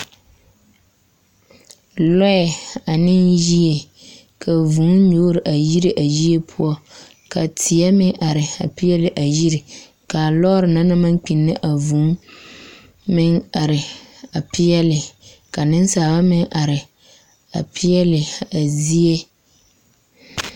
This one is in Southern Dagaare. Lɔɛ ane yie ka vūū nyoore a yire a yie poɔ, teɛ meŋ are a peɛle a yie, ka a lɔɔre na naŋ maŋ kpinne a vūū meŋ are a peɛle, ka nensaaba meŋ are a peɛle a zie.